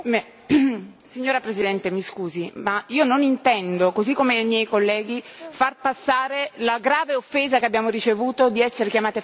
Signora Presidente, mi scusi, ma io non intendo, così come i miei colleghi, far passare la grave offesa che abbiamo ricevuto di essere chiamate fasciste.